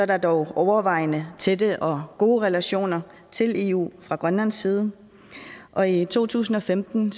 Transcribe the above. der dog overvejende tætte og gode relationer til eu fra grønlands side og i to tusind og femten